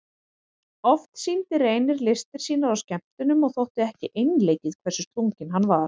Oft sýndi Reynir listir sínar á skemmtunum og þótti ekki einleikið hversu slunginn hann var.